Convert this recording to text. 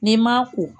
N'i ma ko